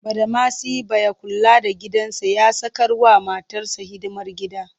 Badamasi ba ya kula da gidansa ya sakarwa matarsa hidimar gida